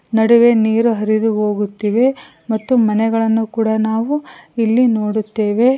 ನಡುವೆ ನೀರು ಹರಿದು ಹೋಗುತ್ತಿವೆ ಮತ್ತು ಮನೆಗಳನ್ನು ಕೂಡ ನಾವು ಇಲ್ಲಿ ನೋಡುತ್ತೇವೆ.